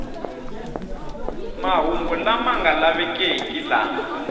mahungu lama nga lavekeki lama